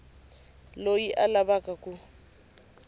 loyi a a lava ku